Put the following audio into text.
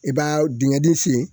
I b'a dingɛ dɔ sen